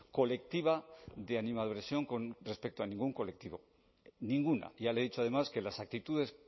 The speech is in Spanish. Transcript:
colectiva de animadversión con respecto a ningún colectivo ninguna ya le he dicho además que las actitudes